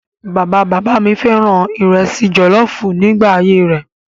Bàba bàbá mi fẹ́ràn ìrẹsì jọ̀lọ́ọ́fù nígbà ayé rẹ̀.